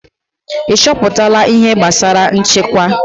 Ị chọpụtala ihe gbasara nchekwa?